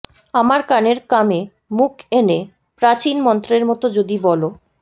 আমার কানের কামে মুখ এনে প্রাচীন মন্ত্রের মতো যদি বলো